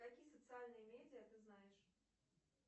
какие социальные медиа ты знаешь